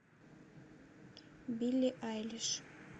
билли айлиш